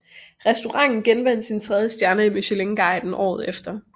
Restauranten genvandt sin tredje stjerne i Michelinguiden året efter